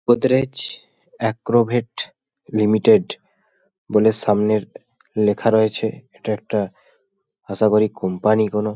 Godrej Agrovet limited বলে সামনে লেখা রয়েছে। এটা একটা আশাকরি কোম্পানি কোনো।